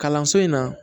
Kalanso in na